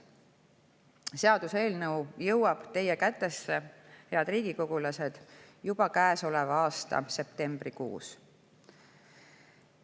Seaduseelnõu jõuab teie kätte, head riigikogulased, juba käesoleva aasta septembrikuus.